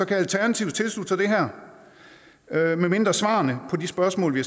kan alternativet tilslutte sig det her medmindre svarene på de spørgsmål vi